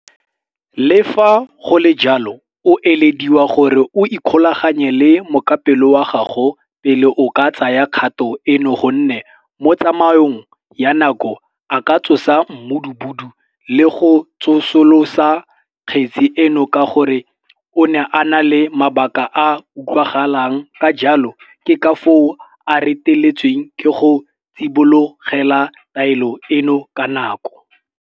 Le fa go le jalo, o elediwa gore o ikgolaganye le mokapelo wa gago pele o ka tsaya kgato eno gonne mo tsamaong ya nako a ka tsosa mmudubudu le go tsosolosa kgetse eno ka gore o ne a na le mabaka a a utlwagalang ka jalo ke ka foo a reteletsweng ke go tsibogela taelo eno ka nako.